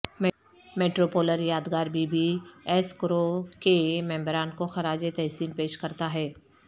میٹروپولر یادگار B B S کرو کے ممبران کو خراج تحسین پیش کرتا ہے